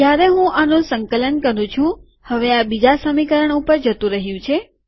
જયારે હું આનું સંકલન કરું છુંહવે આ બીજા સમીકરણ ઉપર જતું રહ્યું છે